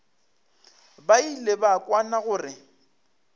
ba ile ba kwana gore